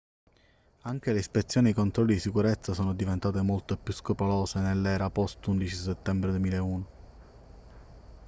anche le ispezioni ai controlli di sicurezza sono diventate molto più scrupolose nell'era post 11 settembre 2001